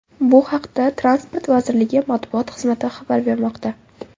Bu haqda Transport vazirligi matbuot xizmati xabar bermoqda .